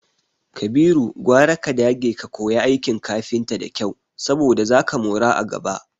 Kabiru, gwara ka dage ka koya aikin kafinta da kyau saboda zaka mora a gaba.